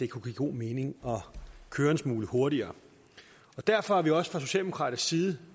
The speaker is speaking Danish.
kunne give god mening at køre en smule hurtigere derfor er vi også fra socialdemokratisk side